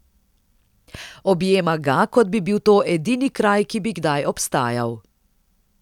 Objema ga, kot bi bil to edini kraj, ki bi kdaj obstajal.